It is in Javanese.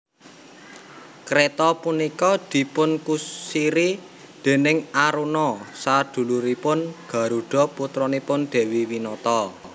Kreta punika dipunkusiri déning Aruna saduluripun Garuda putranipun Dewi Winata